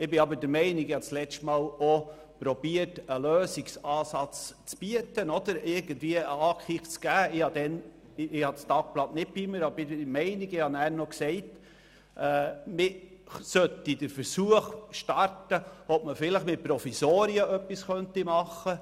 Ich habe letztes Mal auch versucht, einen Lösungsansatz zu bieten, bin aber, obwohl ich das Tagblatt nicht mitgenommen habe, der Meinung, damals gesagt zu haben, dass wir den Versuch starten sollten, etwas mit Provisorien zu unternehmen.